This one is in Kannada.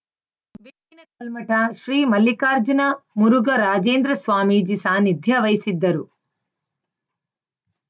ಬೆಕ್ಕಿನ ಕಲ್ಮಠ ಶ್ರೀ ಮಲ್ಲಿಕಾರ್ಜುನ ಮುರುಘ ರಾಜೇಂದ್ರ ಸ್ವಾಮೀಜಿ ಸಾನ್ನಿಧ್ಯ ವಹಿಸಿದ್ದರು